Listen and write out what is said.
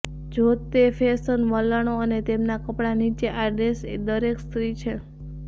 જો તે ફેશન વલણો અને તેમના કપડા નીચે આ ડ્રેસ દરેક સ્ત્રી છે